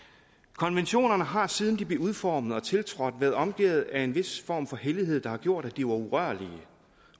konventionerne har siden de blev udformet og tiltrådt været omgærdet af en vis form for hellighed der har gjort at de var urørlige